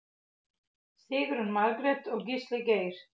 Sigrún Margrét og Gísli Geir.